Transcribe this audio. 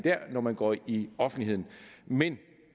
når man går i offentligheden men